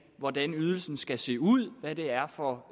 hvordan ydelsen skal se ud hvad det er for